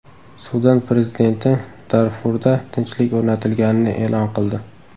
Sudan prezidenti Darfurda tinchlik o‘rnatilganini e’lon qildi.